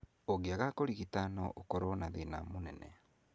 Ũngĩaga kũrigita no ũkoro na thĩna mũnene.